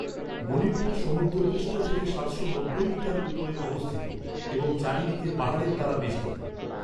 মণিপুর সমুদ্রপৃষ্ঠ থেকে সাতশো নব্বই মিটার উপরে অবস্থিত এবং চারিদিকে পাহাড়ের দ্বারা বেষ্টিত।